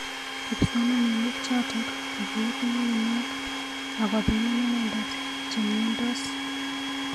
Kipsomanink chotok kokiib ngngunyek ak kopiman inendet chemnyendos.